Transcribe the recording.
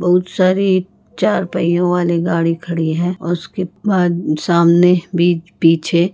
बहुत साड़ी चार पहियों वाली गाडी खड़ी हैं और उसके बाद सामने पीछे